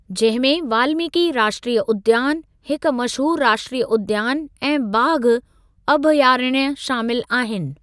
जंहिं में वाल्मीकि राष्ट्रीय उद्यान, हिक मशहूर राष्ट्रीय उद्यान ऐं बाघ अभयारण्य शामिल आहिनि।